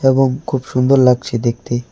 এবং খুব সুন্দর লাগছে দেখতে।